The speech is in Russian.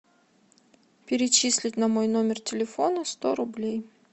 перечислить на мой номер телефона сто рублей